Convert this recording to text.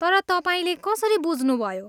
तर तपाईँले कसरी बुझ्नुभयो?